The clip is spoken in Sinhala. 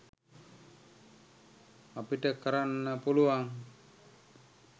අපිට කරන්න පුළුවන්